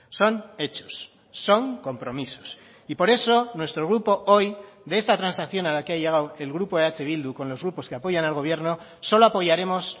son hechos son compromisos y por eso nuestro grupo hoy de esta transacción a la que ha llegado el grupo eh bildu con los grupos que apoyan al gobierno solo apoyaremos